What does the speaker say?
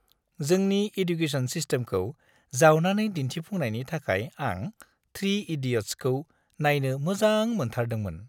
जोंनि एडुकेसन सिस्टेमखौ जावनानै दिन्थिफुंनायनि थाखाय आं "3 इडियट्स"खौ नायनो मोजां मोनथारदोंमोन।